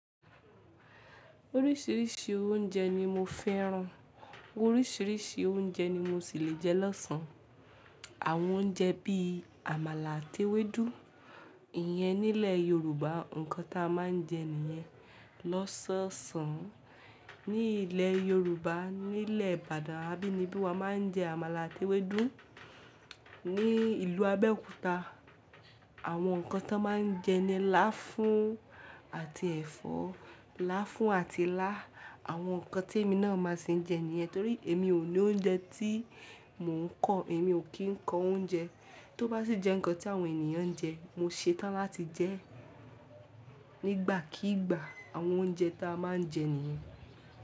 Oríṣiríṣi oúnjẹ ni mo fẹ́ran. Oríṣiríṣi oúnjẹ ni mo sì le jẹ lọ́sàn-án. Àwọn oúnjẹ bíi àmàlà àti ewédú, ìyẹn nílẹ̀ Yorùbá nǹkan ta máa ń jẹ nìyẹn lọ́sọ̀ọ̀sán. Ní ilẹ̀ Yorùbá, ní ilẹ̀ Ìbàdàn, abínibí wa máa ń jẹ àmàlà àti ewédú. Ní ìlú Abẹ́òkúta, àwọn nǹkan tó máa ń jẹ ni láfún àti ẹ̀fọ́. Láfún àti ilá. Àwọn nǹkan tí èmi náà máa sì ń jẹ nìyẹn torí èmi ò ní oúnjẹ tí mò ń kọ. Èmi ò kí ń kọ oúnjẹ. Tó bá sì jẹ́ nǹkan tí àwọn ènìyàn ń jẹ, mo ṣetán láti jẹ́ nígbàkígbà àwọn oúnjẹ ta máa ń jẹ nìyẹn.